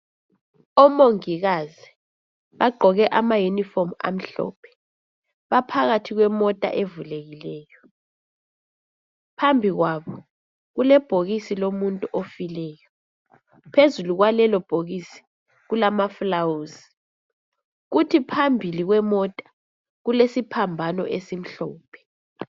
Omongikazi baqgoke ama uniform amhlophe baphakathi kwemota evule kileyo phambi kwabo kulebhokisi lomuntu ofileyo phezulu kwalelo bhokisi kulama flawuzi kuthi phambili kwemota kulesiphambano esimhlophe